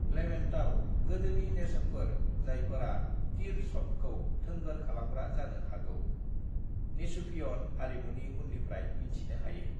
"लेवेंटाव, गोदोनि नेरसोनफोर जायफोरा तीर-शफ्टखौ थोंगोर खालामग्रा जानो हागौ, नेचुफियन हारिमुनि उन्निफ्राय मिन्थिनो हायो।"